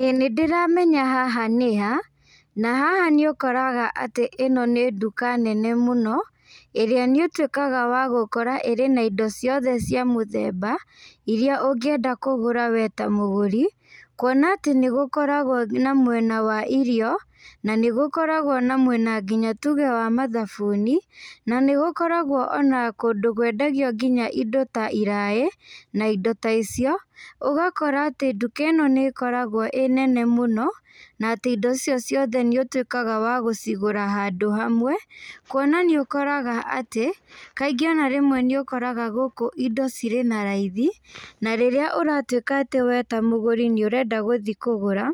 Ĩĩ nĩndĩramenya haha nĩha, na haha nĩũkoraga atĩ ĩno nĩ nduka nene mũno, ĩrĩa nĩũtuĩkaga wa gũkora ĩrĩ na indo ciothe cia mũthemba, ĩria ũngĩenda kũgũra we ta mũgũri, kuona atĩ nĩgũkoragwo na mwena wa irio, na nĩgũkoragwo na mwena nginya tuge wa mathabuni, na nĩgũkoragwo ona kũndũ kwendagio nginya indo ta iraĩ, na indo ta icio, ũgakora atĩ nduka ĩno nĩkoragwo ĩ nene mũno, na atĩ indo icio ciothe nĩũtuĩkaga wa gũcigũra handũ hamwe kuona nĩũkoraga atĩ, kaingĩ ona rĩmwe nĩũkoraga gũkũ indo cirĩ na raithi, na rĩrĩa ũratuĩka atĩ we ta mũgũri nĩũrenda gũthi kũgũra,